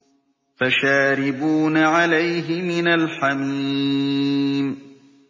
فَشَارِبُونَ عَلَيْهِ مِنَ الْحَمِيمِ